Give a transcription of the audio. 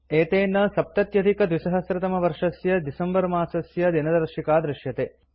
एतेन २०७०December इत्यस्य दिनदर्शिका दृश्यते